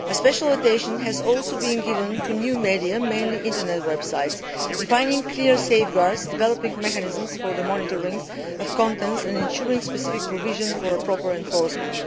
Special attention has also been given to new media mainly Internet websites defining clear safeguards, developing mechanisms for the monitoring of contents and ensuring specific provision for proper enforcement.